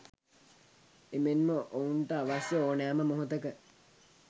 එමෙන්ම ඔවුන්ට අවශ්‍ය ඕනෑම මොහොතක